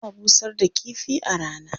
Ana busar da kifi a rana.